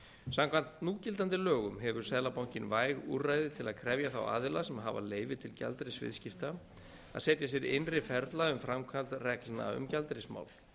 samkvæmt núgildandi lögum hefur seðlabankinn væg úrræði til að krefja þá aðila sem hafa leyfi til gjaldeyrisviðskipta að setja sér innri ferla um framkvæmd reglna um gjaldeyrismál